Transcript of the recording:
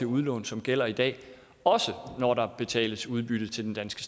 udlån som gælder i dag også når der betales udbytte til den danske